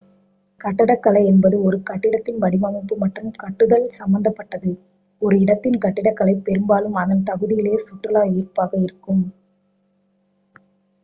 கட்டடக் கலை என்பது ஒரு கட்டிடத்தின் வடிவமைப்பு மற்றும் கட்டுதல் சம்பந்தப் பட்டது ஒரு இடத்தின் கட்டிடக்கலை பெரும்பாலும் அதன் தகுதியிலேயே சுற்றுலா ஈர்ப்பாக இருக்கும்